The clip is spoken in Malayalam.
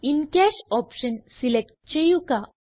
ഇൻ കാഷ് ഓപ്ഷൻ സിലക്റ്റ് ചെയ്യുക